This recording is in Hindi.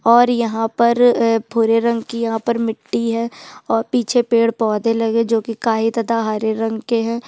और यहाँ पर भूरे रंग की यहाँ पर मिट्टी है और पीछे पेड़-पौधे लगे जो कि काई तथा हरे रंग के है।